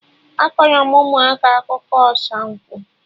Akọrọ m ụmụaka akụkọ ọsa nkwa